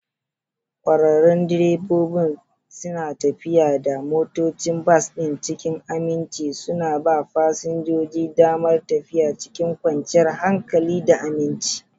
ƙwararrun direbobi suna tafiyar da motocin bas ɗin cikin aminci, suna ba fasinjoji damar tafiya cikin kwanciyar hankali da aminci.